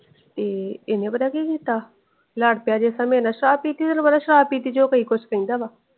ਤੇ ਹਨ ਪਤਾ ਕਿ ਕੀਤਾ? ਲੜ ਪਿਆ ਜੇਸਾ ਮੇਰੇ ਨਾਲ ਸ਼ਰਾਬ ਪੀਤੀ ਸੀ ਫੇਰ ਤੈਨੂੰ ਪਤਾ ਸ਼ਰਾਬ ਪੀਤੀ ਚ ਉਹ ਕੀਈ ਕੁਜ ਕਹਿੰਦਾ ਵਾ।